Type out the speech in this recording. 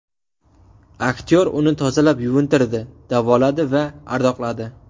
Aktyor uni tozalab yuvintirdi, davoladi va ardoqladi.